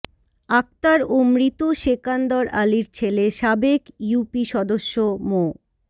আক্তার ও মৃত সেকান্দর আলীর ছেলে সাবেক ইউপি সদস্য মো